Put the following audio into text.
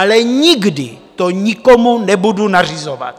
Ale nikdy to nebudu nikomu nařizovat.